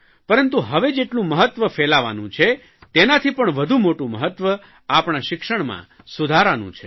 પરંતુ હવે જેટલું મહત્વ ફેલાવાનું છે તેનાથી પણ વધુ મોટું મહત્વ આપણા શિક્ષણમાં સુધારાનું છે